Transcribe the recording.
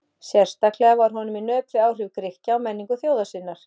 Sérstaklega var honum í nöp við áhrif Grikkja á menningu þjóðar sinnar.